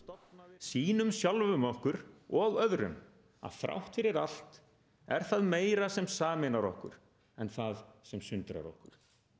sýnum sjálfum okkur og öðrum að þrátt fyrir allt er það meira sem sameinar okkur en það sem sundrar okkur